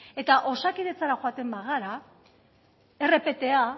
eta osakidetzara joaten bagara rpta